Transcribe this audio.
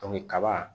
kaba